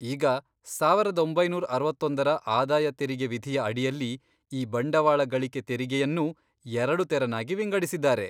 ಈಗ, ಸಾವರದ್ ಒಂಬೈನೂರ್ ಅರವತ್ತೊಂದರ ಆದಾಯ ತೆರಿಗೆ ವಿಧಿಯ ಅಡಿಯಲ್ಲಿ ಈ ಬಂಡವಾಳ ಗಳಿಕೆ ತೆರಿಗೆಯನ್ನೂ ಎರಡು ತೆರನಾಗಿ ವಿಂಗಡಿಸಿದ್ದಾರೆ.